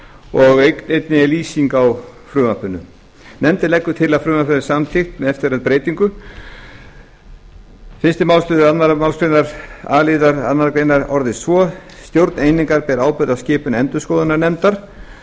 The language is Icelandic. og einnig er lýsing á frumvarpinu nefndin leggur til að frumvarpið verði samþykkt með eftirfarandi breytingu frá þúsund fimmtíu og eitt fyrsta málsl annarri málsgrein a liðar annarrar greinar orðist svo stjórn einingar ber ábyrgð á skipun endurskoðunarnefndar